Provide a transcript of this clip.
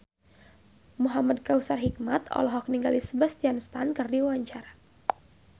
Muhamad Kautsar Hikmat olohok ningali Sebastian Stan keur diwawancara